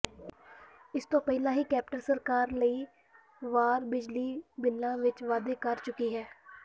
ਇਸ ਤੋਂ ਪਹਿਲਾਂ ਹੀ ਕੈਪਟਨ ਸਰਕਾਰ ਕਈ ਵਾਰ ਬਿਜਲੀ ਬਿੱਲਾਂ ਵਿੱਚ ਵਾਧੇ ਕਰ ਚੁੱਕੀ ਹੈ